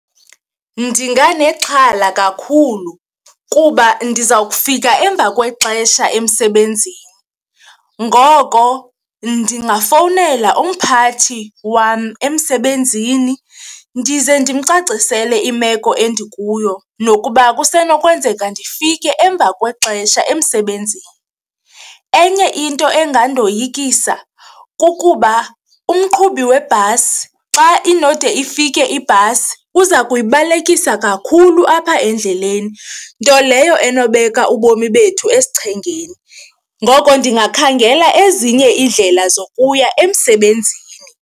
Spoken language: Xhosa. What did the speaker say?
Ndinganexhala kakhulu kuba ndiza kufika emva kwexesha emsebenzini, ngoko ndingafowunela umphathi wam emsebenzini ndize ndimcacisele imeko endikuyo nokuba kusenokwenzeka ndifike emva kwexesha emsebenzini. Enye into engandoyikisa kukuba umqhubi webhasi xa inode ifike ibhasi, uza kuyibalekisa kakhulu apha endleleni nto leyo enobeka ubomi bethu esichengeni. Ngoko ndingakhangela ezinye iindlela zokuya emsebenzini.